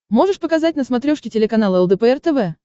можешь показать на смотрешке телеканал лдпр тв